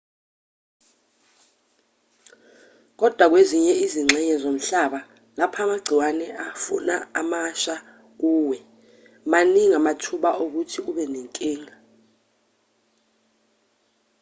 kodwa kwezinye izingxenye zomhlaba lapho amagciwane e-fauna emasha kuwe maningi amathuba okuthi ube nenkinga